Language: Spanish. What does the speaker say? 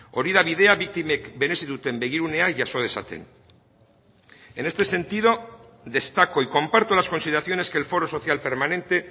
hori da bidea biktimek merezi duten begirunea jaso dezaten en este sentido destaco y comparto las consideraciones que el foro social permanente